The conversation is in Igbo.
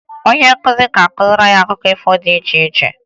Onye nkuzi ga-akụziri anyị akụkọ ifo dị iche iche